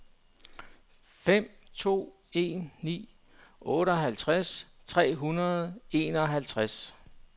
fem to en ni otteoghalvtreds tre hundrede og enoghalvtreds